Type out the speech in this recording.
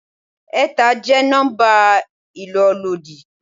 Ẹ̀ta jẹ́ nọ́mbà ìlólòdi.